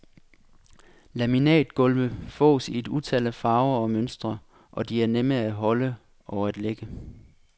Laminatgulve fås i et utal af farver og mønstre og de er nemme at holde og at lægge.